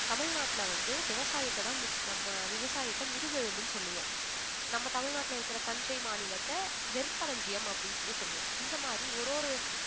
தமிழ்நாட்டுல வந்து விவசாயத்ததான் மு~ நம்ம விவசாயத்த முதுகெலும்புன்னு சொல்லுவோம். நம்ம தமிழ்நாட்டுல இருக்கிற தஞ்சை மாநிலத்தை நெற்களஞ்சியம் அப்படின்னு சொல்லி சொல்லுவோம் இந்த மாதிரி ஒரு ஒரு